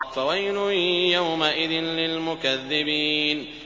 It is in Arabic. فَوَيْلٌ يَوْمَئِذٍ لِّلْمُكَذِّبِينَ